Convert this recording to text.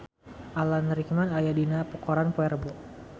Alan Rickman aya dina koran poe Rebo